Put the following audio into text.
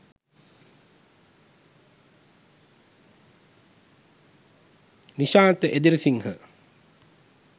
nishantha edirisinghe